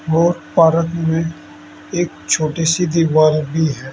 और पारक में एक छोटी सी दीवार भी है।